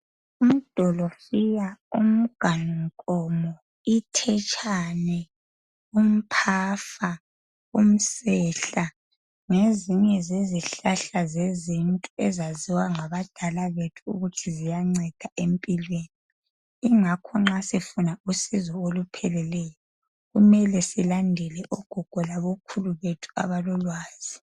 idolofiya, uganu nkomo, umthetshane, umpafa, umsehla, ngezinye zezihlahla zezintu ezaziwa ngabadala bethu ukuthi ziyanceda empilweni yingakho ma sifuna usizo olupheleleyo kumele silandele ogogo labakhulu abalolwazi